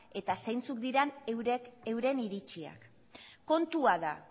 eta zeintzuk diren euren iritziak kontua da